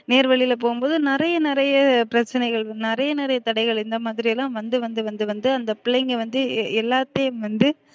நேர் வழில போகும்போது நிறையா நிறையா பிரச்சனைகள் நிறையா நிறையா தடைகள் இந்த மாதிரிலாம் வந்து வந்து வந்து வந்து அந்த பிள்ளைங்க வந்து எல்லாத்தையும் வந்து